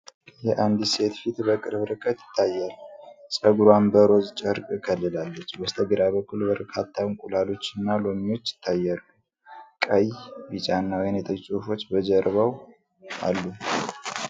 አንድ ሴት ፊት በቅርብ ርቀት ይታያል፣ ፀጉሯን በሮዝ ጨርቅ ከልላለች። በስተግራ በኩል በርካታ እንቁላሎች እና ሎሚዎች ይታያሉ። ቀይ፣ ቢጫና ወይንጠጅ ፅሁፎች በጀርባው አሉ።